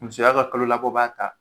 Musoya ka kalo labɔ b'a ta